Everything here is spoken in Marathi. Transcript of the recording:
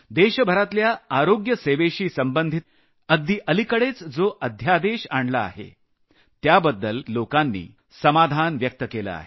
देशभरातल्या आरोग्य सेवेशी संबंधित लोकांनी अगदी अलिकडेच जो अध्यादेश आणला आहे त्याबद्दल समाधान व्यक्त केलं आहे